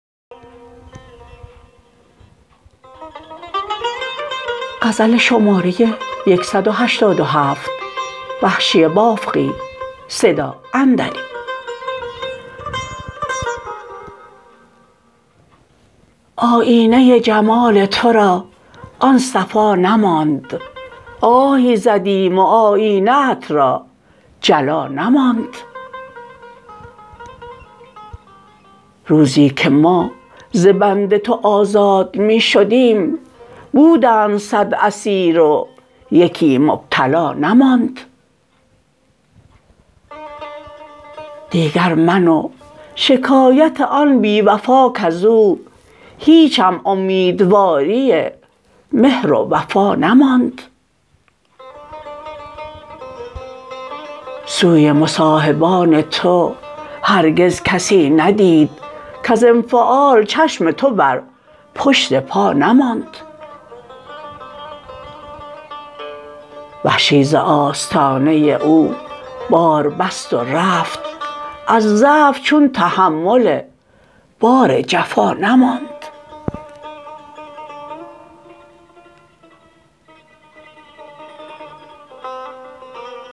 آیینه جمال ترا آن صفا نماند آهی زدیم و آینه ات را جلا نماند روزی که ما ز بند تو آزاد می شدیم بودند سد اسیر و یکی مبتلا نماند دیگر من و شکایت آن بی وفا کز او هیچم امیدواری مهر و وفا نماند سوی مصاحبان تو هرگز کسی ندید کز انفعال چشم تو بر پشت پا نماند وحشی ز آستانه او بار بست و رفت از ضعف چون تحمل بار جفا نماند